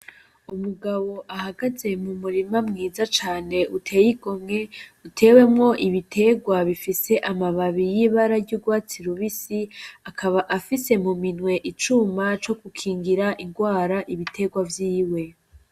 Umugabo ahagaze mumurima mwiza cane uteye igomwe, utewemwo ibiterwa bifise amababi y'ibara ry'urwatsi rubisi, akaba afise muminwe icuma co gukingira ingwara ibiterwa vyiwe